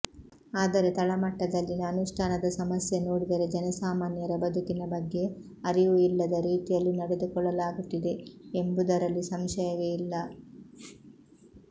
ಆದರೆ ತಳಮಟ್ಟದಲ್ಲಿನ ಅನುಷ್ಠಾನದ ಸಮಸ್ಯೆ ನೋಡಿದರೆ ಜನಸಾಮಾನ್ಯರ ಬದುಕಿನ ಬಗ್ಗೆ ಅರಿವು ಇಲ್ಲದ ರೀತಿಯಲ್ಲಿ ನಡೆದುಕೊಳ್ಳಲಾಗುತ್ತಿದೆ ಎಂಬುದರಲ್ಲಿ ಸಂಶಯವೇ ಇಲ್ಲ